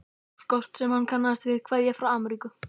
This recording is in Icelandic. Póstkort sem hann kannast við, kveðja frá Ameríku.